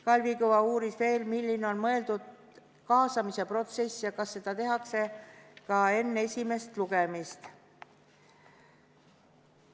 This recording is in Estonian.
Kalvi Kõva uuris veel, millisena on mõeldud kaasamise protsess ja kas seda tehakse enne esimest lugemist.